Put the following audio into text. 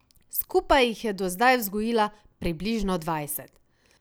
Skupaj jih je do zdaj vzgojila približno dvajset.